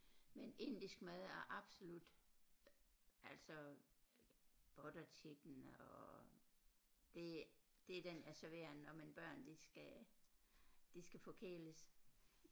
Men indisk mad er absolut altså butter chicken og det det er den jeg serverer når mine børn de skal de skal forkæles